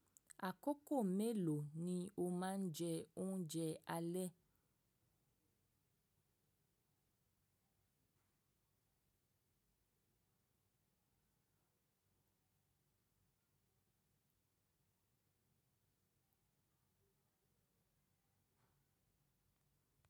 Àkókò mélò ni o máa ń jẹ oúnjẹ alẹ́?